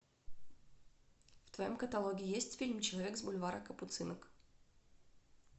в твоем каталоге есть фильм человек с бульвара капуцинок